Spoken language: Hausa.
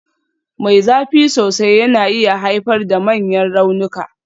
Mai zafi sosai yana iya haifar da manyan raunuka.